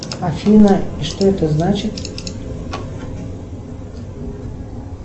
афина и что это значит